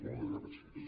moltes gràcies